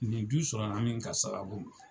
Nin du sɔrɔ la min ka sababu la